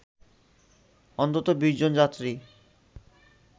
অন্তত ২০ জন যাত্রী